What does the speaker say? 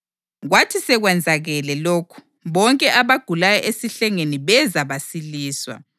Kwathi sekwenzakele lokhu, bonke abagulayo esihlengeni beza basiliswa.